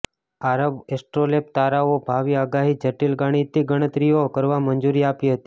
આરબ astrolabe તારાઓ ભાવિ આગાહી જટિલ ગાણિતીક ગણતરીઓ કરવા મંજૂરી આપી હતી